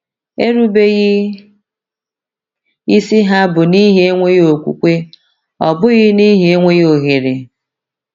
Erubeghị isi ha bụ n’ihi enweghị okwukwe ọ bụghị n’ihi ọ bụghị n’ihi enweghị ohere.